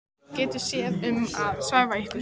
Örn getur séð um að svæfa ykkur.